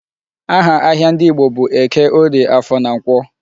Aha ahịa ndị Igbo bụ Eke, Orie, Afọ na Nkwọ.